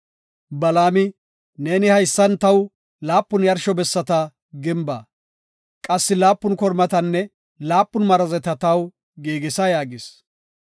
Balaami, “Neeni haysan taw laapun yarsho bessata gimba; qassi laapun kormatanne laapun marazeta taw giigisa” yaagis.